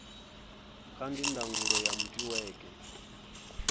ca ndi ndangulo ya netiweke